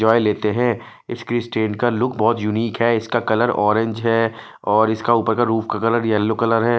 दवाई लेते हैं इसकी स्टैंड का लुक बहोत यूनिक है इसका कलर ऑरेंज है और इसका ऊपर का रूप का कलर येलो कलर है।